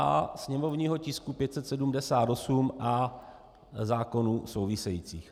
A sněmovního tisku 578 a zákonů souvisejících?